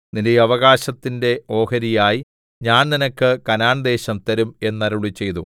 നിന്റെ അവകാശത്തിന്റെ ഓഹരിയായി ഞാൻ നിനക്ക് കനാൻദേശം തരും എന്നരുളിച്ചെയ്തു